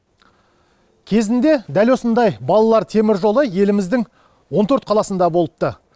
кезінде дәл осындай балалар теміржолы еліміздің он төрт қаласында болыпты